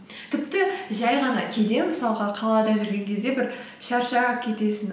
тіпті жай ғана кейде мысалға қалада жүрген кезде бір шаршап кетесің